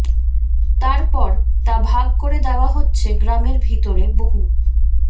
তার পর তা ভাগ করে দেওয়া হচ্ছে গ্রামের ভিতরে বহু